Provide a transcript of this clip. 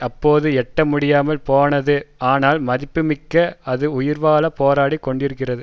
அப்போது எட்ட முடியாமல் போனது ஆனால் மதிப்புமிக்க அது உயிர்வாழ போராடி கொண்டிருக்கிறது